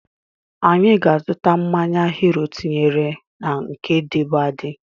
Anyị ga-azuta mmanya Hiro tinyere na nke dịbu adị